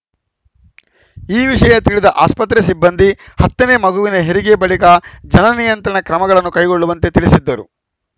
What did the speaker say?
ಈ ವಿಷಯ ತಿಳಿದ ಆಸ್ಪತ್ರೆ ಸಿಬ್ಬಂದಿ ಹತ್ತ ನೇ ಮಗುವಿನ ಹೆರಿಗೆ ಬಳಿಕ ಜನ ನಿಯಂತ್ರಣ ಕ್ರಮಗಳನ್ನು ಕೈಗೊಳ್ಳುವಂತೆ ತಿಳಿಸಿದ್ದರು